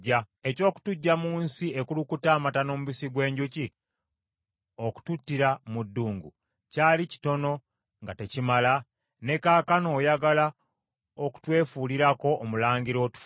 Eky’okutuggya mu nsi ekulukuta amata n’omubisi gw’enjuki okututtira mu ddungu, kyali kitono nga tekimala? Ne kaakano oyagala okutwefuulirako omulangira otufuge?